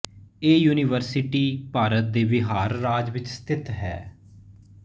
ਇਹ ਯੂਨੀਵਰਸਿਟੀ ਭਾਰਤ ਦੇ ਬਿਹਾਰ ਰਾਜ ਵਿੱਚ ਸਥਿਤ ਹੈ